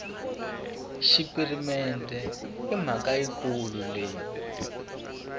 xipirimente i mhaka yikulu leyi